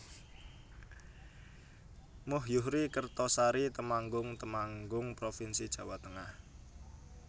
Muh Yuhri Kertosari Temanggung Temanggung provinsi Jawa Tengah